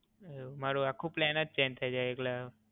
એવું, મારુ આખું પ્લાન જ ચેંજ થય જાય એટલે.